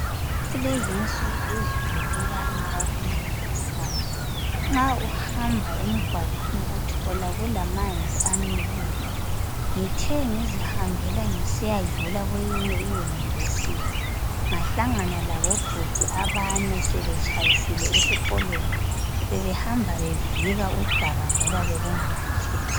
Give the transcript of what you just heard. Kulezinsuku izulu liyana okumangalisayo. Nxa uhamba emgwaqweni uthola kulamanzi amileyo. Ngithe ngizihambela ngisiyadlula kweyinye iYunivesithi ngahlangana labobhudi abane sebetshayisile esikolweni. Bebehamba bevika udaka ngoba bekunganyatheleki.